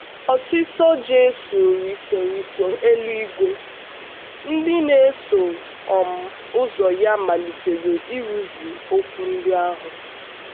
Ọ̀sìsọ́ Jisù rìso rìso eluigwe, ndị na-eso um ụzọ ya malitere ịrụzu okwu ndị ahụ.